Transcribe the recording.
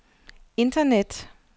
internet